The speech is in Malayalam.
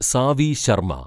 സാവി ശർമ്മ